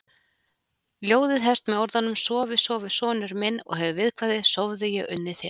Ljóðið hefst með orðunum Sofi, sofi sonur minn og hefur viðkvæðið: Sofðu, ég unni þér